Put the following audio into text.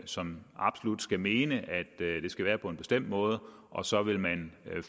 som absolut skal mene at det skal være på en bestemt måde og så vil man